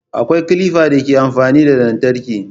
Akwai kilifan da ke amfani da lantarki